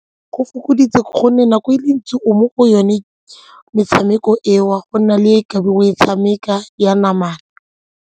Go fokoditse gonne nako e le ntsi o mo go yone metshameko eo go nna le e ka be o e tshameka ya namana.